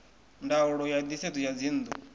ndaulo ya nisedzo ya dzinnu